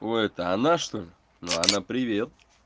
ой это она чтоль ну она привет